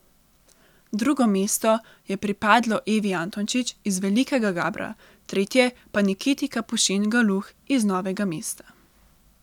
Drugo mesto je pripadlo Evi Antončič iz Velikega Gabra, tretje pa Nikiti Kapušin Galuh iz Novega mesta.